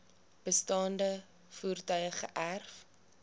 bestaande voertuie geërf